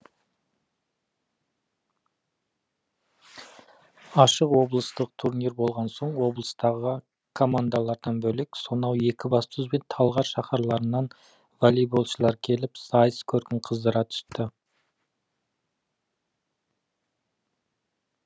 ашық облыстық турнир болған соң облыстағы командалардан бөлек сонау екібастұз бен талғар шаһарларынан волейболшылар келіп сайыс көркін қыздыра түсті